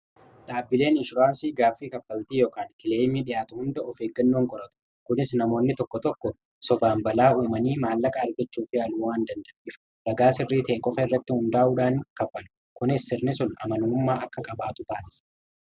Dhaabbileen inshuraansii gaaffii kaffaltii yokaan kileemii dhihaatu hunda of eeggannoon qoratu kunis namoonni tokko tokko sobaan balaa uumanii maallaqa argachuu fi waan danda'afu ragaa sirrii ta'e qofa irratti hundaa'uudhaan kaffalu kunis sirni sun amanummaa akka qabaatu taasisa.